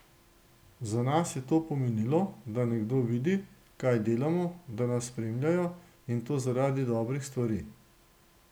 Za nas je to pomenilo, da nekdo vidi, kaj delamo, da nas spremljajo, in to zaradi dobrih stvari.